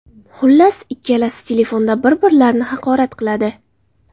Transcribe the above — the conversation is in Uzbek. Xullas, ikkalasi telefonda bir-birlarini haqorat qiladi.